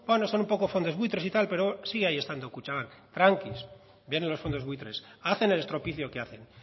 bueno son un poco fondos buitres y tal pero sigue ahí estando kutxabank tranquis vienen los fondos buitres hacen el estropicio que hacen